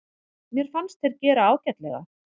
Mér fannst þeir gera ágætlega.